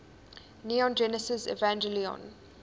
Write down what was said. neon genesis evangelion